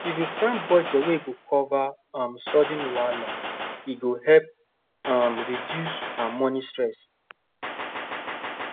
if you plan budget wey go cover um sudden wahala e go help um reduce um money stress